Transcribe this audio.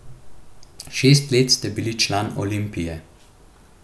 Šest let ste bili član Olimpije.